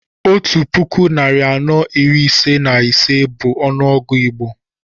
Otú puku narị anọ iri ise na ise bú ọnụọgụ Igbo